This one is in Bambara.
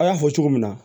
An y'a fɔ cogo min na